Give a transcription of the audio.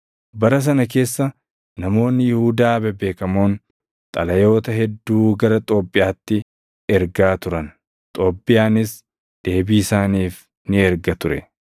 Bara sana keessa namoonni Yihuudaa bebeekamoon xalayoota hedduu gara Xoobbiyaatti ergaa turan; Xoobbiyaanis deebii isaaniif ni erga ture.